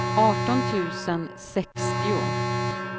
arton tusen sextio